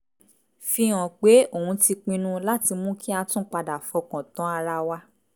fi hàn pé òun ti pinnu láti mú kí a tún padà fọkàn tán ara wa